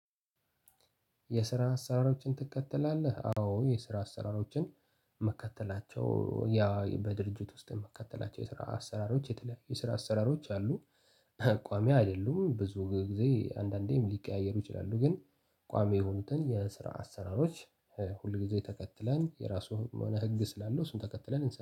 የስራ አሰራሮችን ትከተላለህ አዎ የስራ አሰራሮችን ምከተላቸው ያ በድርጅት ውስጥ ምከተላቸው የስራ አሰራሮች የተለያየ የስራ አሰራሮች አሉ ቋሚ አይደሉም ብዙ ጊዜ አንዳንዴም ሊቀያየሩ ይችላሉ። ግን ቋሚ የሆኑትን የስራ አሰራሮች ሁል ጊዜ ተከትላን የራሱ የሆነ ህግ ስላለው እሱን ተከትለን